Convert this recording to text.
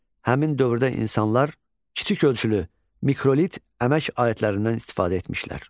Həmin dövrdə insanlar kiçik ölçülü mikrolit əmək alətlərindən istifadə etmişlər.